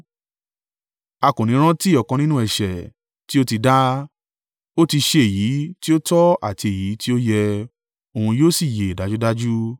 A kò ní rántí ọ̀kan nínú ẹ̀ṣẹ̀ tí ó ti dá. Ó ti ṣe èyí tí ó tọ àti èyí tí o yẹ; òun yóò sì yè dájúdájú.